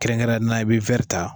Kɛrɛnkɛrɛnnenya la i bi ta.